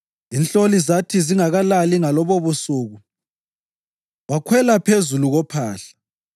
Inhloli zathi zingakalali ngalobobusuku, wakhwela phezu kophahla